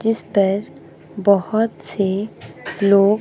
जिस पर बहुत से लोग--